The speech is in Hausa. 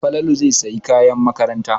Falalu zai sayi kayan makaranta.